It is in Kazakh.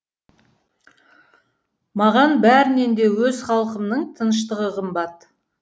маған бәрінен де өз халқымның тыныштығы қымбат